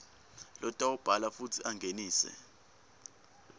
lotawubhala futsi angenise